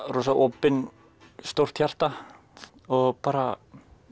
rosa opinn stórt hjarta og bara